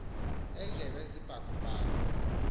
endlebe zibaku baku